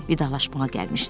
Vidalaşmağa gəlmişdilər.